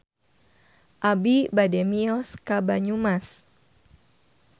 Abi bade mios ka Banyumas